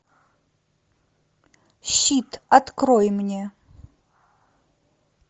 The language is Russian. щит открой мне